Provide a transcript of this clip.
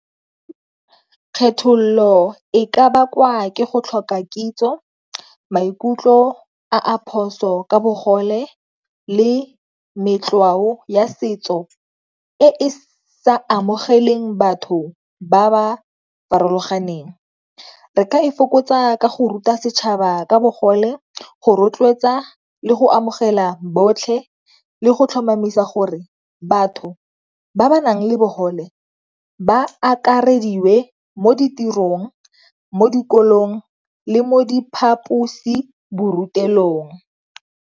Kgethololo e ka bakwa ke go tlhoka kitso maikutlo a a phoso ka bogole le ya setso e sa amogeleng batho ba ba farologaneng. Re ka e fokotsa ka go ruta setšhaba ka bogole go rotloetsa le go amogela botlhe le go tlhomamisa gore batho ba ba nang le bogole ba akarediwe mo ditirong, mo dikolong, le mo diphaposiborutelong.